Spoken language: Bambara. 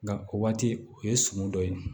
Nga o waati o ye sɔmi dɔ ye